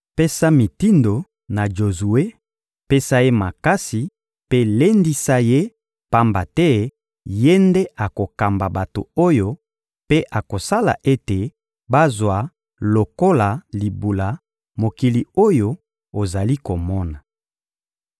Pesa mitindo na Jozue, pesa ye makasi mpe lendisa ye; pamba te ye nde akokamba bato oyo mpe akosala ete bazwa lokola libula mokili oyo ozali komona.